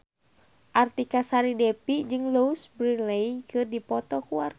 Artika Sari Devi jeung Louise Brealey keur dipoto ku wartawan